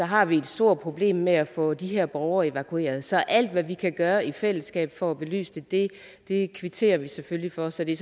har vi et stort problem med at få de her borgere evakueret så alt hvad vi kan gøre i fællesskab for at belyse det det kvitterer vi selvfølgelig for så det